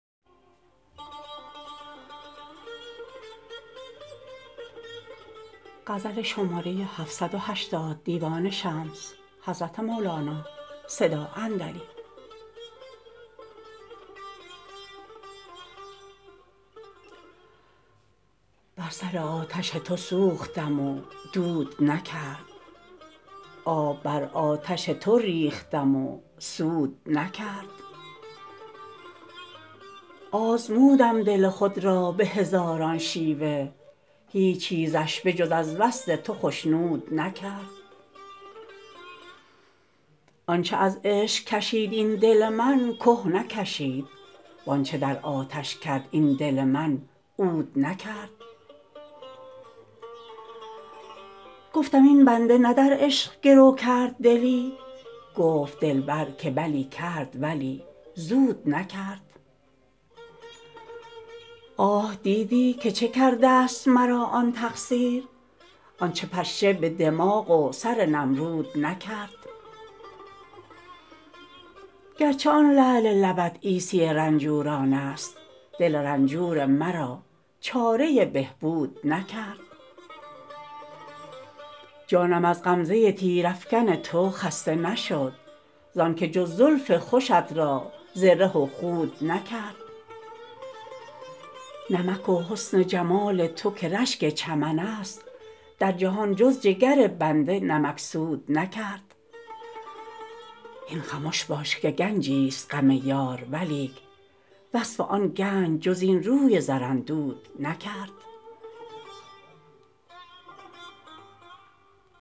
بر سر آتش تو سوختم و دود نکرد آب بر آتش تو ریختم و سود نکرد آزمودم دل خود را به هزاران شیوه هیچ چیزش به جز از وصل تو خشنود نکرد آنچ از عشق کشید این دل من که نکشید و آنچ در آتش کرد این دل من عود نکرد گفتم این بنده نه در عشق گرو کرد دلی گفت دلبر که بلی کرد ولی زود نکرد آه دیدی که چه کردست مرا آن تقصیر آنچ پشه به دماغ و سر نمرود نکرد گرچه آن لعل لبت عیسی رنجورانست دل رنجور مرا چاره بهبود نکرد جانم از غمزه تیرافکن تو خسته نشد زانک جز زلف خوشت را زره و خود نکرد نمک و حسن جمال تو که رشک چمن است در جهان جز جگر بنده نمکسود نکرد هین خمش باش که گنجیست غم یار ولیک وصف آن گنج جز این روی زراندود نکرد